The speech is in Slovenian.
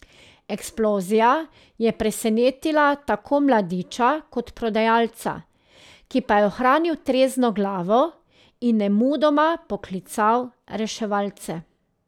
Eksplozija je presenetila tako mladeniča kot prodajalca, ki pa je ohranil trezno glavo in nemudoma poklical reševalce.